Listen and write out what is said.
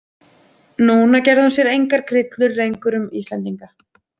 Núna gerði hún sér engar grillur lengur um Íslendinga.